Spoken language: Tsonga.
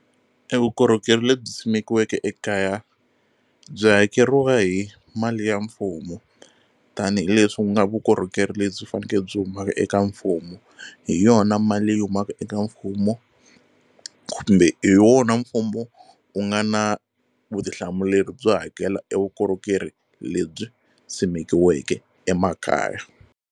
E vukorhokeri lebyi simekiweke ekaya byi hakeriwa hi mali ya mfumo tanihileswi ku nga vukorhokeri lebyi faneke byi humaka eka mfumo hi yona mali leyi humaka eka mfumo kumbe hi wona mfumo wu nga na vutihlamuleri byo hakela e vukorhokeri lebyi simekiweke emakaya.